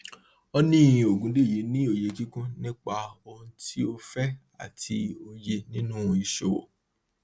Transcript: honey ogundeyi ní òye kíkún nípa ohun tí ó fẹ àti òye nínú ìṣòwò